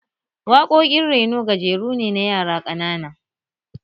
Waƙoƙin reno gajeru ne na yara ƙanana